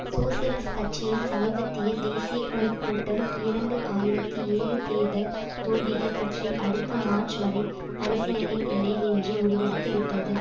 socialist கட்சியின் சமீபத்திய தேசிய குழு கூட்டம் இரண்டு ஆயிரத்தி ஏழு தேர்தல் தோல்விகள் பற்றி அடுத்த மார்ச் வரை பரிசீலனை இல்லை என்று முடிவெடுத்துவிட்டது